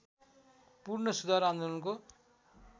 पूर्ण सुधार आन्दोलनको